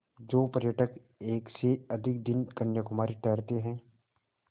जो पर्यटक एक से अधिक दिन कन्याकुमारी ठहरते हैं